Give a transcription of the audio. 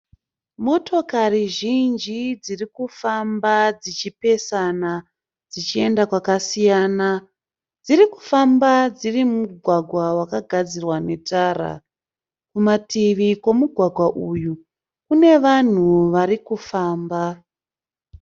Motokari zhinji dziri kufamba dzichipesana dzichienda kwakasiyana. Dzirikufamba dziri mumugwagwa vakagadzirwa netara, kumativi kwemugwagwa uyu kune vanhu varikifamba